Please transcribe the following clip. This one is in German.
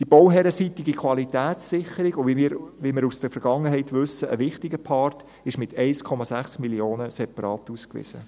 Die bauherrenseitige Qualitätssicherung – wie wir aus der Vergangenheit wissen: ein wichtiger Part – ist mit 1,6 Mio. Franken separat ausgewiesen.